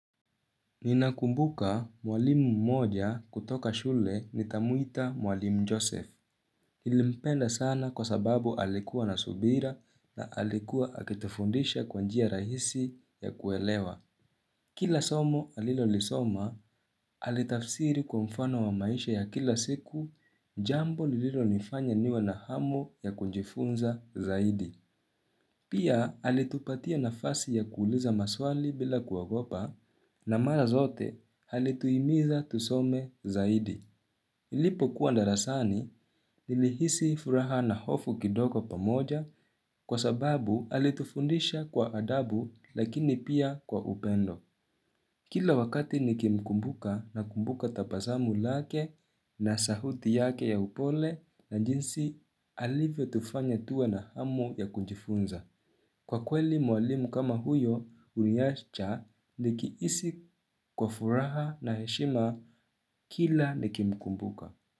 Ninakumbuka mwalimu mmoja kutoka shule nitamuita mwalimu joseph Nilimpenda sana kwa sababu alikuwa na subira na alikuwa akitufundisha kwanjia rahisi ya kuelewa Kila somo alilo lisoma Alitafsiri kwa mfano wa maisha ya kila siku jambo nililo nifanya niwe na hamu ya kunjifunza zaidi Pia alitupatia na fasi ya kuuliza maswali bila kuogopa na mara zote alituimiza tusome zaidi. Ilipo kuandarasani, nilihisi furaha na hofu kidoko pamoja kwa sababu halitufundisha kwa adabu lakini pia kwa upendo. Kila wakati nikimkumbuka na kumbuka tabasamu lake na sahuti yake ya upole na jinsi alivyo tufanya tuwe na hamu ya kunjifunza. Kwa kweli mwalimu kama huyo, uniacha likiisi kwa furaha na heshima kila nikimkumbuka.